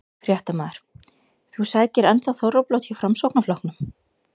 Fréttamaður: Þú sækir enn þá þorrablót hjá Framsóknarflokknum?